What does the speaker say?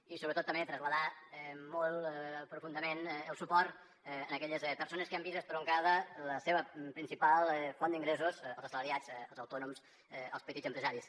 i sobretot també traslladar molt profundament el suport a aquelles persones que han vist estroncada la seva principal font d’ingressos els assalariats els autònoms els petits empresaris